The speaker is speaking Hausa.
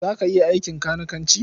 Za ka iya aikin kanikanci?